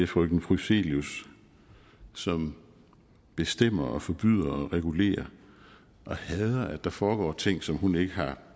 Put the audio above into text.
frøken prysselius som bestemmer forbyder og regulerer og hader at der foregår ting som hun ikke har